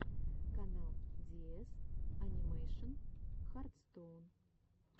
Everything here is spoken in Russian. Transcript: канал диэс анимэйшн хартстоун